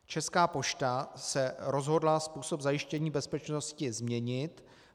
Česká pošta se rozhodla způsob zajištění bezpečnosti změnit.